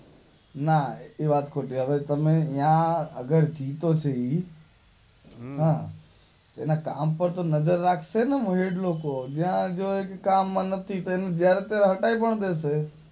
ના એ વાત ખોટી તમે ન્યાં આગળ જીતો છે ઈ એના કામ પાર તો નજર રાખશે ને લોકોતો હટાવી પણ દેશે